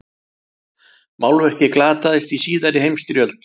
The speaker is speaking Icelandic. Málverkið glataðist í síðari heimsstyrjöld.